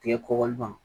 Tigɛ kɔkɔli ban